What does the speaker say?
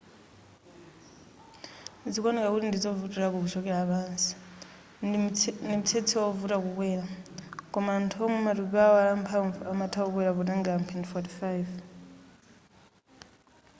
zikuoneka kuti ndizovutilako kuchokera pansi ndi mtsetse wovuta kukwera koma anthu omwe matupi awo ali amphamvu amatha kukwera potenga mphindi 45